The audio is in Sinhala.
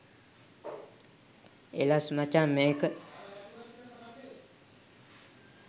එලස් මචන් මේක